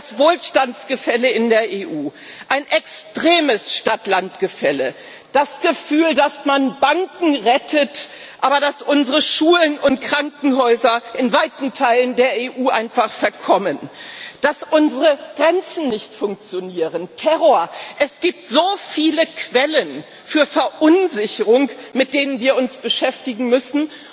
Das Wohlstandsgefälle in der EU, ein extremes Stadt Land Gefälle, das Gefühl, dass man Banken rettet, aber unsere Schulen und Krankenhäuser in weiten Teilen der EU einfach verkommen, dass unsere Grenzen nicht funktionieren, Terror es gibt so viele Quellen für Verunsicherung, mit denen wir uns beschäftigen müssen.